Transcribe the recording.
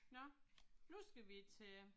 Nåh. Nu skal vi til